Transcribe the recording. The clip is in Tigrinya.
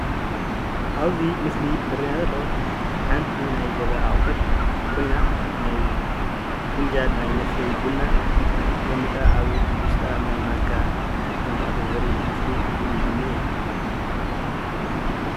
ኣብዚ ምስሊ ዝረአየና ዘሎ ሓንቲ ናይ ገዛ ኣቁሑት ኮይና ፍንጃል ናይ መስተይ ቡና ተቀሚጣ ኣብ ውሽጣ ማንካ ከም ዝኣተወ ዘርኢ ምስሊ እዩ ዝኒሀ፡፡